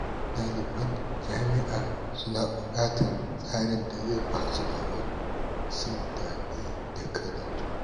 Daliban jami’a suna bukatar tsarin da zai ba su damar jin daɗi da karatu.